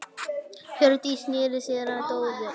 Hjördís sneri sér að Dóru.